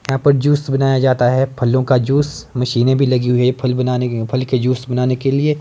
यहां पर जूस बनाया जाता है फलों का जूस मशीने भी लगी हुई फल बनाने के फल के जूस बनाने के लिए।